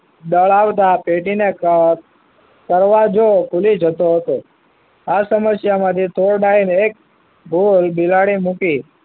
દળાવતા પેટીને દરવાજો ખુલી જતો હતો આ સમસ્યા માંથી ફોર ડાઇન એક ગોર બિલાડી મૂકી